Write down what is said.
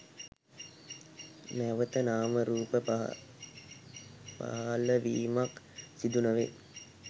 නැවත නාම රූප පහලවීමක් සිදු නොවේ